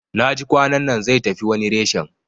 Naji kwanannan zai tafi wani reshen